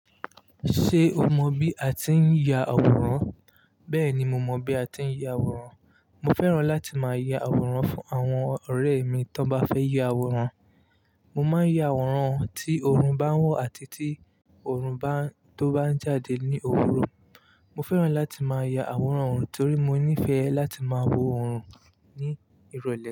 Ṣé o mọ bí a ti ń ya àwòrán? Bẹ́ẹ̀ni mo mọ bí a ti ń ya àwòrán. Mo fẹ́ràn láti máa ya àwòrán fún àwọn ọ̀rẹ́ mi tó bá fẹ́ ya àwòrán. Mo máa ń ya àwòrán tí oorun bá ń wọ̀ àti tí oorun tó bá ń jáde ní òwúrọ̀. Mo fẹ́ràn láti máa ya àwòrán torí mo nífẹ̀ẹ́ láti máa wo òórùn ní ìrọ̀lẹ́.